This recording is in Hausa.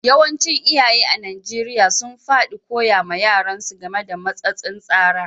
Yawancin iyaye a'Nijeriya sun fadi koya ma yaran su game da matsatsin tsara.